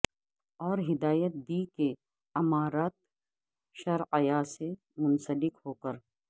اور ھدایت دی کہ امارت شرعیہ سے منسلک ھوکر